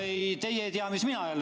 Ei, teie ei tea jälle, mis mina ütlen.